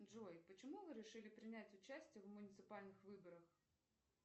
джой почему вы решили принять участие в муниципальных выборах